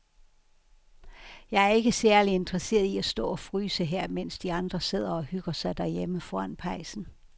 Jeg er ikke særlig interesseret i at stå og fryse her, mens de andre sidder og hygger sig derhjemme foran pejsen.